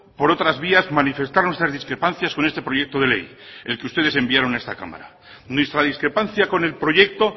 por otras vías manifestar nuestras discrepancias con este proyecto de ley el que ustedes enviaron a esta cámara nuestra discrepancia con el proyecto